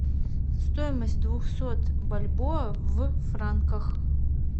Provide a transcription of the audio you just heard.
стоимость двухсот бальбоа в франках